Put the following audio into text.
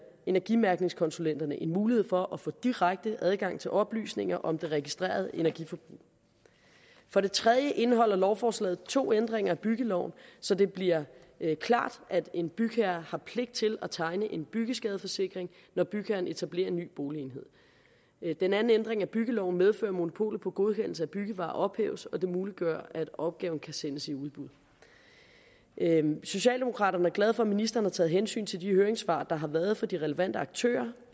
energimærkningskonsulenterne mulighed for at få direkte adgang til oplysninger om det registrerede energiforbrug for det tredje indeholder lovforslaget to ændringer af byggeloven så det bliver klart at en bygherre har pligt til at tegne en byggeskadeforsikring når bygherren etablerer en ny boligenhed den anden ændring af byggeloven medfører at monopolet på godkendelse af byggevarer ophæves og det muliggør at opgaven kan sendes i udbud socialdemokraterne er glade for at ministeren har taget hensyn til de høringssvar der har været fra de relevante aktører